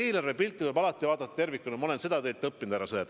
Eelarvepilti tuleb alati vaadata tervikuna – ma olen seda teilt õppinud, härra Sõerd.